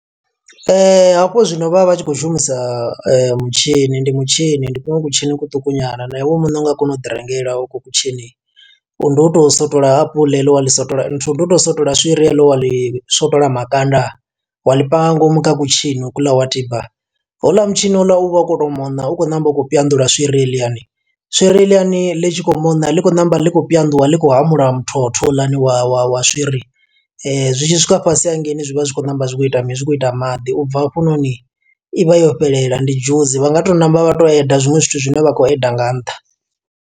Hafhu zwino vha vha vha tshi khou shumisa mutshini, ndi mutshini. Ndi kuṅwe kutshini kuṱuku nyana, na iwe muṋe u nga kona u ḓi rengela ho ko kutshini. Ndi u to swotola apuḽa heḽo wa ḽi swotola, nthu ndi u to swotola swiri heḽo wa ḽi swotola makanda. Wa ḽi panga nga ngomu kha kutshini ho kuḽa wa tiba. Houḽa mutshini houḽa uvha u khou to mona, u khou ṋamba u khou swiri heḽiani. Swiri heḽiani ḽi tshi khou moṋa ḽi khou ṋamba ḽi khou ḽi khou hamula muthotho houḽani wa wa wa wa swiri. Zwi tshi swika fhasi hangeini zwi vha zwi khou ṋamba zwi kho ita mini? zwi khou ita maḓi ubva hafhanoni i vha yo fhelela. Ndi dzhusi vha nga to ṋamba vha to add zwiṅwe zwithu zwine vha khou add nga nṱha.